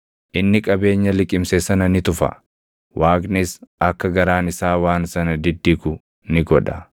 Inni qabeenya liqimse sana ni tufa; Waaqnis akka garaan isaa waan sana diddigu ni godha.